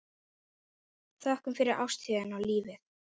Þökkum fyrir ástina og lífið.